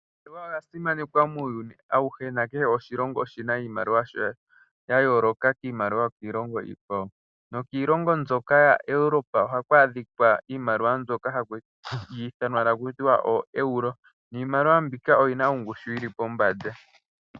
Iimaliwa oya simanekwa muuyuni awuhe nakehe oshilongo oshi na iimaliwa yasho ya yooloka kiimaliwa yokiilongo iikwawo. Nokiilongo mbyoka yaEurope ohaku adhika iimaliwa mbyoka haku ithanwa taku tiwa ooEuro, niimaliwa mbika oyi na ongushu yi li pombanda.